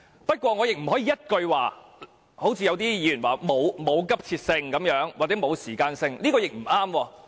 不過，某些議員說《條例草案》沒有急切性或沒有時間性，這樣也不對。